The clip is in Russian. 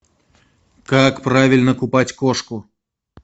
как правильно купать кошку